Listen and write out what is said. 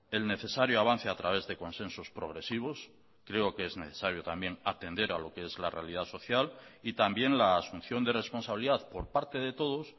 el necesario avance a través de consensos progresivos creo que es necesario también atender a lo que es la realidad social y también la asunción de responsabilidad por parte de todos